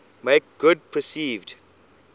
make good perceived